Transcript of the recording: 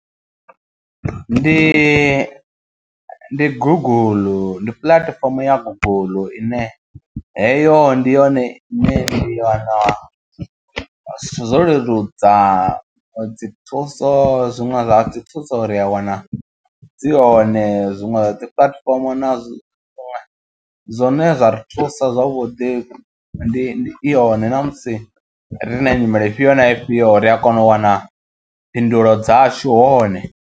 Ndi ndi guguḽu ndi puḽatifomo ya guguḽu ine heyo ndi yone ine i wana zwithu zwo leludza dzi thuso zwiṅwe zwa dzi thuso ri a wana dzi hone zwiṅwe zwa dzi platform nazwo zwine zwa ri thusa zwavhuḓi ndi i hone ṋamusi riṋe nyimele ifhio na ifhio ri a kona u wana phindulo dzashu hone.